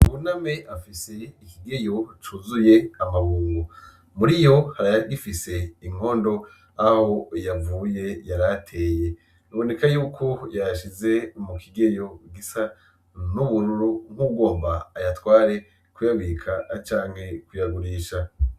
Buname afise ikigeyo cuzuye amabungo , muri yo harayagifise inkondo y’aho yavuye yarateye. Biboneka yuko yayashize mu kigeyo gisa n’ubururu nk’uwugomba ayatware kuyabika canke kuyagurisha.